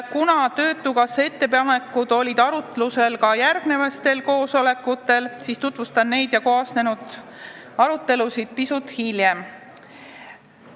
Kuna töötukassa ettepanekud olid arutusel ka järgmistel koosolekutel, siis tutvustan neid ja kaasnenud arutelusid pisut hiljem.